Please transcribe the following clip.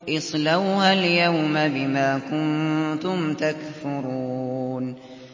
اصْلَوْهَا الْيَوْمَ بِمَا كُنتُمْ تَكْفُرُونَ